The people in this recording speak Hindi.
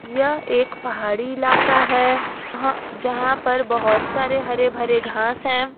यह एक पहाड़ी इलाका है जहां पर बहोत सारे हरे भरे घास हैं।